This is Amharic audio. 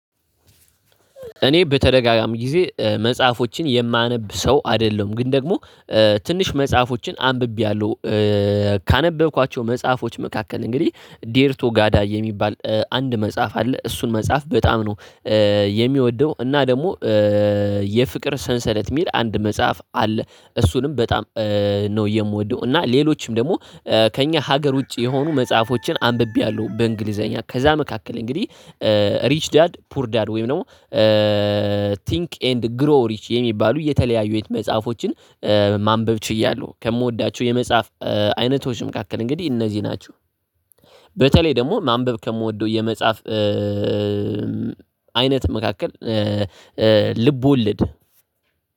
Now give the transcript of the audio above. እኔ በተደጋጋሚ ጊዜ መጽሐፎችን የማነብ ሰው አይደለም ግን ደግሞ ትንሽ መጽሐፎችን አንብቤያለሁ። ካነበብኳቸው መጽሐፎች መካከል እንግዲህ ዴርቶ ጋዳ የሚባል አንድ መጽሐፍ አለ እሱን መጽሐፍ በጣም ነው የሚወደው እና ደግሞ የፍቅር ሰንሰለት የሚል አንድ መጽሐፍ አለ እሱንም በጣም ነው የምወደው እና ሌሎችም ደግሞ ከእኛ ሀገር ውጪ የሆኑ መጽሐፎችን አንብቤያለሁ በእንግሊዘኛ ከዛ መካከል እንግዲህ ሪች ዳድ ፑር ዳድ ወይም ደግሞ ቲንክ ኤንድ ግሮ ሪች የሚባሉ የተለያዩ የት መጽሐፎችን ማንበብ ችያለሁ። ከምወዳቸው የመጽሐፍ አይነቶች መካከል እንግዲህ እነዚህ ናቸው። በተለይ ደግሞ ማንበብ ከምወደው የመጻፍ አይነት መካከል ልብ ወለድ፣